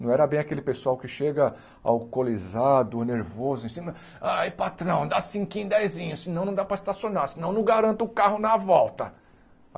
Não era bem aquele pessoal que chega alcoolizado, nervoso, em cima... Aí, patrão, dá cinquinho dezinho, senão não dá para estacionar, senão não garanto o carro na volta.